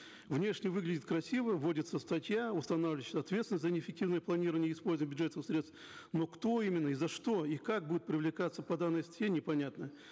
внешне выглядит красиво вводится статья устанавливающая ответственность за неэффективое планирование и использоание бюджетных средств но кто именно и за что и как будет привлекаться по данной статье непонятно